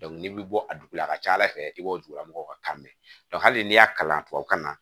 n'i bɛ bɔ a dugu la a ka ca ala fɛ i b'o dugulamɔgɔw ka kan mɛn hali n'i y'a kalan tubabukan na